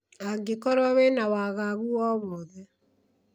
angikorwo wĩna waagagu o wothe